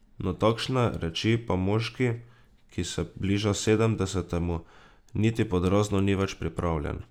Na takšne reči pa moški, ki se bliža sedemdesetemu, niti pod razno ni več pripravljen.